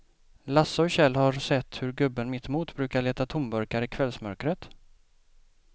Lasse och Kjell har sett hur gubben mittemot brukar leta tomburkar i kvällsmörkret.